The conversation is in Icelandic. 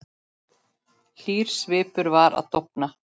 Hlýr svipur var að dofna.